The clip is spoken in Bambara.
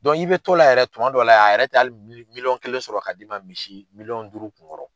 i bɛ to la yɛrɛ tuma dɔ la, a yɛrɛ tɛ hali miliyɔn kelen sɔrɔ k'a d'i ma, misi miliyɔn duuru kun kɔrɔ.